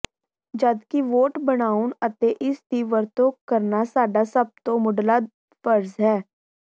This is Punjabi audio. ਜਦਕਿ ਵੋਟ ਬਣਾਉਣਾ ਅਤੇ ਇਸ ਦੀ ਵਰਤੋੋਂ ਕਰਨਾ ਸਾਡਾ ਸੱਭ ਦਾ ਮੁਢਲਾ ਫਰਜ਼ ਹੈ